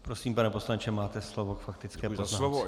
Prosím, pane poslanče, máte slovo k faktické poznámce.